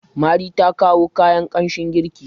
mari ta kawo kayan kanshin girki